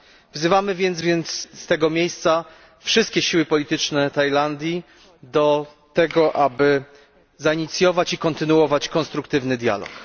Wzywamy więc z tego miejsca wszystkie siły polityczne Tajlandii do tego, aby zainicjować i kontynuować konstruktywny dialog.